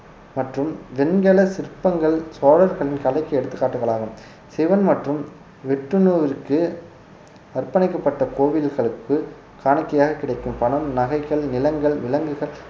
மற்றும் வெண்கல சிற்பங்கள் சோழர்களின் கலைக்கு எடுத்துக்காட்டுகளாகும் சிவன் மற்றும் விட்டுணுவிற்கு அர்ப்பணிக்கப்பட்ட கோவில்களுக்கு காணிக்கையாக கிடைக்கும் பணம் நகைகள் நிலங்கள் விலங்குகள்